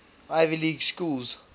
ivy league schools